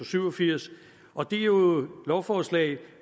syv og firs og det er jo lovforslag